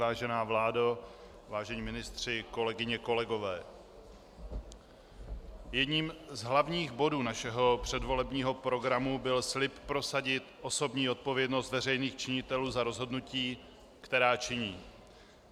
Vážená vládo, vážení ministři, kolegyně, kolegové, jedním z hlavních bodů našeho předvolebního programu byl slib prosadit osobní odpovědnost veřejných činitelů za rozhodnutí, která činí.